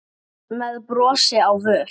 með brosi á vör.